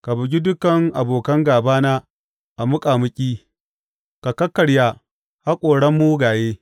Ka bugi dukan abokan gābana a muƙamuƙi; ka kakkarya haƙoran mugaye.